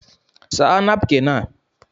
Saa napkin a!!